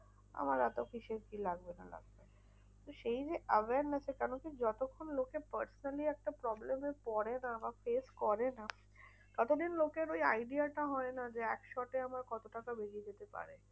আমার এত কিসের কি লাগবে না লাগবে? তো সেই যে awareness এ কেনোকি যতক্ষণ লোকে personally একটা problem এ পরে না বা face করে না, ততদিন লোকের ওই idea টা হয় না যে, একসাথে আমার কত টাকা বেরিয়ে যেতে পারে।